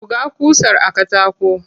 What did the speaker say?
Buga ƙusar a katako.